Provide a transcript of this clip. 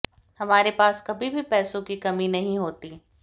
हमारे पास कभी भी पैसों की कमी नहीं होती